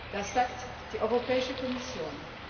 Das sagt die Europäische Kommission.